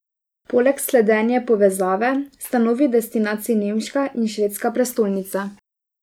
Poleg slednje povezave sta novi destinaciji nemška in švedska prestolnica.